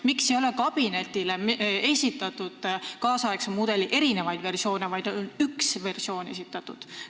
Miks ei ole kabinetile esitatud tänapäeva mudeli erinevaid versioone, vaid on esitatud ainult üks?